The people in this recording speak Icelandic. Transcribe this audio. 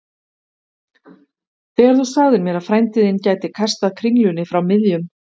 Þegar þú sagðir mér að frændi þinn gæti kastað kringlunni frá miðjum